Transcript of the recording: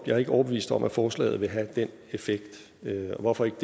er ikke overbevist om at forslaget vil have den effekt og hvorfor ikke